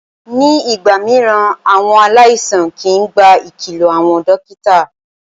Ní ìgbà mìíràn, àwọn aláìsàn kìí gba ìkìlọ àwọn dókítà.